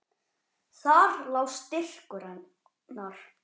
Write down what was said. Þar lá styrkur hennar.